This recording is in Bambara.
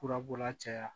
Furabɔla caya